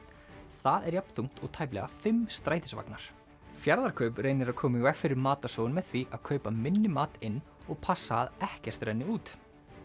það er jafn þungt og tæplega fimm strætisvagnar Fjarðarkaup reynir að koma í veg fyrir matarsóun með því að kaupa minni mat inn og passa að ekkert renni út